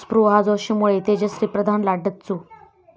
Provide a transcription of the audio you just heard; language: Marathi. स्पृहा जोशीमुळे तेजश्री प्रधानला डच्चू